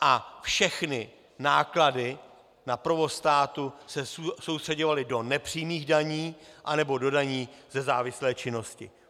A všechny náklady na provoz státu se soustřeďovaly do nepřímých daní anebo do daní ze závislé činnosti.